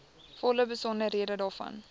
volle besonderhede daarvan